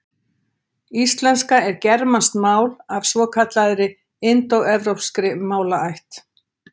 Íslenska er germanskt mál af svokallaðri indóevrópskri málaætt.